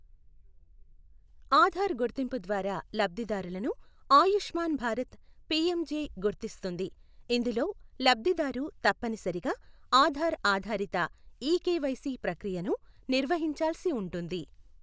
ఆధార్ గుర్తింపు ద్వారా లబ్ధిదారులను ఆయుష్మాన్ భారత్ పీఎం జె గుర్తిస్తుంది, ఇందులో లబ్ధిదారు తప్పనిసరిగా ఆధార్ ఆధారిత ఈ కెవైసి ప్రక్రియను నిర్వహించాల్సి ఉంటుంది.